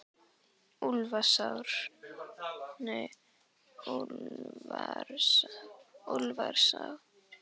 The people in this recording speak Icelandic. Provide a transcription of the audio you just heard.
Úlfarsá